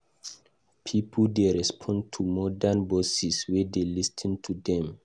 Pipo dey respond better to modern bosses wey dey lis ten to dem.